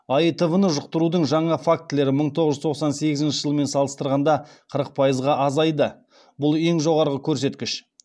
аитв ны жұқтырудың жаңа фактілері мың тоғыз жүз тоқсан сегізінші жылмен салыстырғанда қырық пайызға азайды бұл ең жоғарғы көрсеткіш